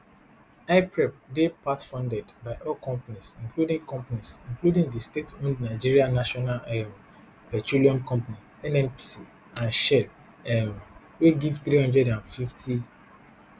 hyprep dey partfunded by oil companies including companies including di stateowned nigerian national um petroleum company nnpc and shell um wey give three hundred and fifty